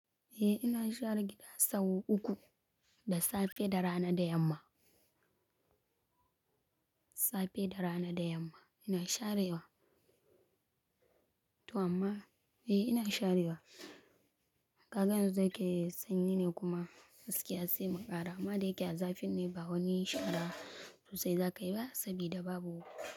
Eh ina share gida sau uku, da safe da rana da yamma. Safe da rana da yamma ina sharewa. To amma eh ina sharewa. Kaga yanzu dake sanyi ne kuma haske a sai maƙara. Amma da yake a zafi ne ba wani shara sosai za ka yi ba saboda babu wuta.